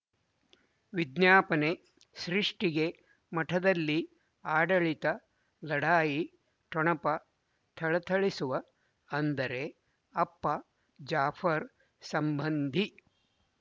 ವಿಜ್ಞಾಪನೆ ಸೃಷ್ಟಿಗೆ ಮಠದಲ್ಲಿ ಆಡಳಿತ ಲಢಾಯಿ ಠೊಣಪ ಥಳಥಳಿಸುವ ಅಂದರೆ ಅಪ್ಪ ಜಾಫರ್ ಸಂಬಂಧಿ